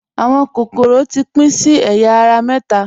Awọn kokoro ti pin sí awọn èya ara méta.